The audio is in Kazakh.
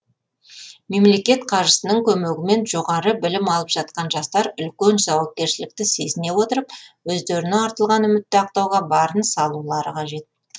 мемлекет қаржысының көмегімен жоғары білім алып жатқан жастар үлкен жауапкершілікті сезіне отырып өздеріне артылған үмітті ақтауға барын салулары қажет